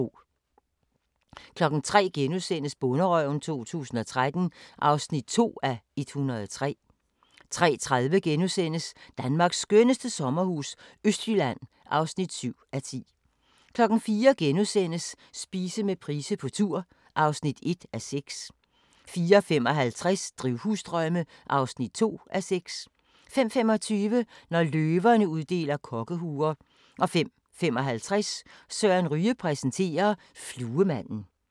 03:00: Bonderøven 2013 (2:103)* 03:30: Danmarks skønneste sommerhus – Østjylland (7:10)* 04:00: Spise med Price på tur (1:6)* 04:55: Drivhusdrømme (2:6) 05:25: Når løverne uddeler kokkehuer 05:55: Søren Ryge præsenterer: Fluemanden